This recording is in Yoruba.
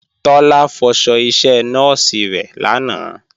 Tọ́lá fọṣọ iṣẹ nọ́ọ̀sì rẹ̀ lánàá